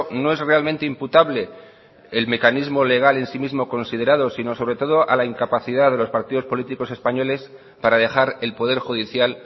no es realmente imputable el mecanismo legal en sí mismo considerado sino sobre todo a la incapacidad de los partidos políticos españoles para dejar el poder judicial